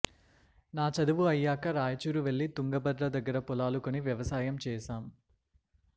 నా చదువు అయ్యాక రాయచూరు వెళ్లి తుంగభద్ర దగ్గర పొలాలు కొని వ్యవసాయం చేశాం